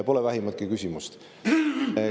Pole vähimatki küsimust.